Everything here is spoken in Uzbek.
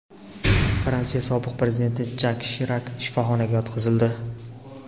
Fransiya sobiq prezidenti Jak Shirak shifoxonaga yotqizildi.